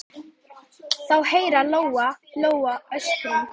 Þá heyrði Lóa-Lóa öskrin.